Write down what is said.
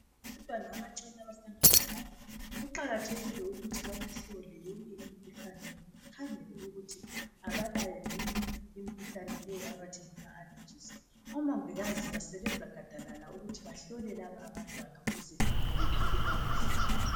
abantwana abancane abasanda kuzalwa kuqakathekile ukuthi babahlole yonke imikhuhlane bakhangele ukuthi abalayo yini imikhuhlane le abathi ngama alllergies omongikazi basebenza gadalala ukuthi bahlole laba abantwana ukuze baphile kakuhle